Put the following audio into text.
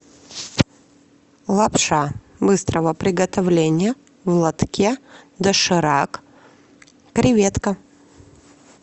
лапша быстрого приготовления в лотке доширак креветка